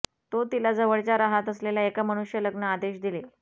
तो तिला जवळच्या राहत असलेल्या एका मनुष्य लग्न आदेश दिले